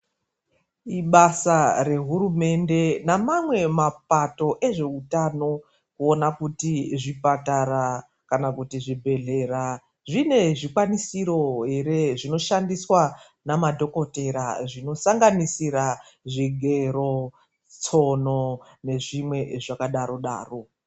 Ibasa rehurumende nemamwe mapato ezveutano kuona kuti zvipatara kana kuti zvibhedhlera zvine zvikwanisiro ere zvinoshandiswa namadhokotera zvinosanganisira zvigero, tsono nezvimwe zvakadaro-daro.